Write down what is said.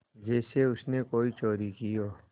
जैसे उसने कोई चोरी की हो